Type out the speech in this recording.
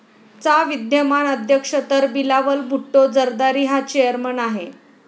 चा विद्यमान अध्यक्ष तर बिलावल भुट्टो झरदारी हा चेयरमन आहे.